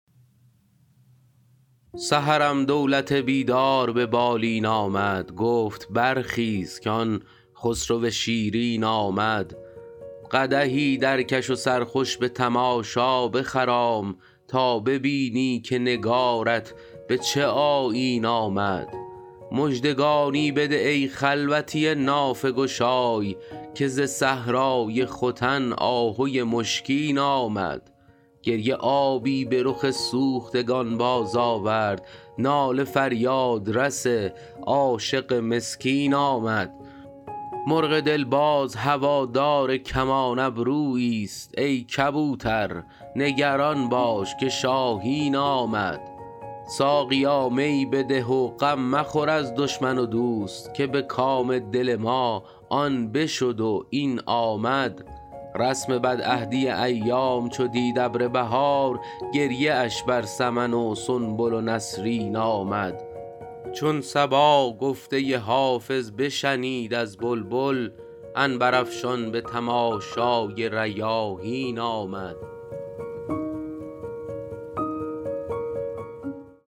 سحرم دولت بیدار به بالین آمد گفت برخیز که آن خسرو شیرین آمد قدحی درکش و سرخوش به تماشا بخرام تا ببینی که نگارت به چه آیین آمد مژدگانی بده ای خلوتی نافه گشای که ز صحرای ختن آهوی مشکین آمد گریه آبی به رخ سوختگان بازآورد ناله فریادرس عاشق مسکین آمد مرغ دل باز هوادار کمان ابروییست ای کبوتر نگران باش که شاهین آمد ساقیا می بده و غم مخور از دشمن و دوست که به کام دل ما آن بشد و این آمد رسم بدعهدی ایام چو دید ابر بهار گریه اش بر سمن و سنبل و نسرین آمد چون صبا گفته حافظ بشنید از بلبل عنبرافشان به تماشای ریاحین آمد